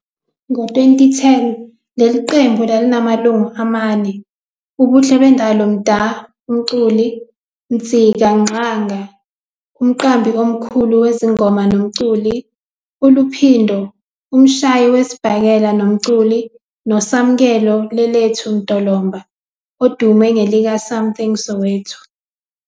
Ngo-2010, leli qembu lalinamalungu amane- uBuhlebendalo Mda, umculi, Ntsika Ngxanga, umqambi omkhulu wezingoma nomculi, uLuphindo, umshayi wesibhakela nomculi, noSamkelo Lelethu Mdolomba, odume ngelikaSamthing Soweto.